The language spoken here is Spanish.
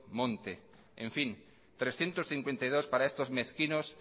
monte en fin trescientos cincuenta y dos para estos mezquinos